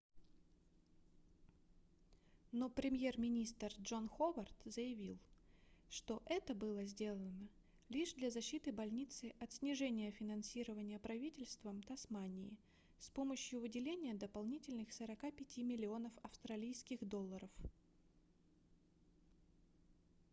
но премьер-министр джон ховард заявил что это было сделано лишь для защиты больницы от снижения финансирования правительством тасмании с помощью выделения дополнительных 45 миллионов австралийских долларов